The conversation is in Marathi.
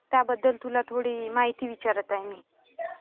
त्याबद्दल तुला थोडी माहिती विचारत आहे मी.